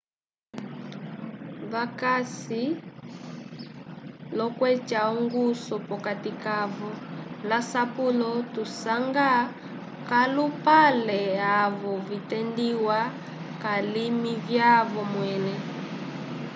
vakasi l'okweca ongusu p'okati kavo l'asapulo tusanga k'alupale avo vitendiwa k'alimi vyavo mwẽle